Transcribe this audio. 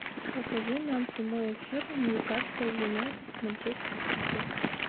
покажи нам прямой эфир ньюкасл юнайтед с манчестер сити